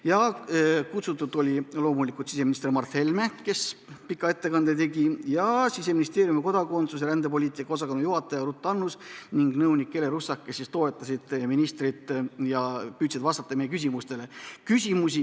Kohale kutsutud oli loomulikult siseminister Mart Helme, kes pika ettekande tegi, ja ka Siseministeeriumi kodakondsus- ja rändepoliitika osakonna juhataja Ruth Annus ning nõunik Ele Russak, kes toetasid ministrit ja püüdsid vastata meie küsimustele.